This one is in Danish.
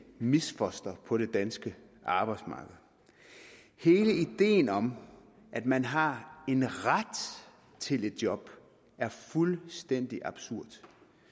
misfoster på det danske arbejdsmarked hele ideen om at man har en ret til et job er fuldstændig absurd